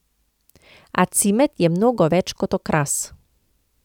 A cimet je mnogo več kot okras.